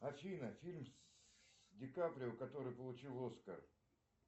афина фильм с ди каприо который получил оскар